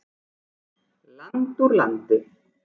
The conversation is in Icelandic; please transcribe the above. Land úr landi.